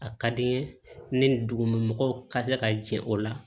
A ka di n ye ni dugumɛnɛw ka se ka jɛn o la